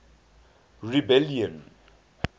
rebellion